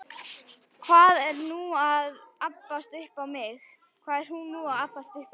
Hvað er hún þá að abbast upp á mig?